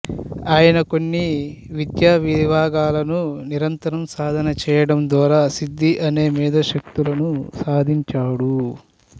ఆయన కొన్ని విద్యా విభాగాలను నిరంతరం సాధన చేయడం ద్వారా సిద్ధి అనే మేధో శక్తులను సాధించాడు